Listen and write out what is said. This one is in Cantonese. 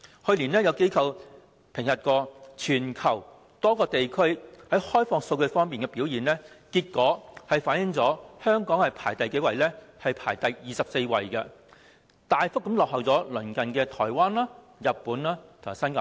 去年，有機構評核全球多個地區在開放數據方面的表現，結果香港排名第二十四位，遠遠落後於鄰近的台灣、日本及新加坡。